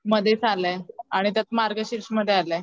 मधेच आलाय आणि त्यात मार्गशीष मध्ये आलाय.